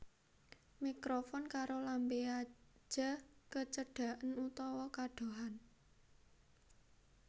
Mikrofon karo lambé aja kecedaken utawa kadohan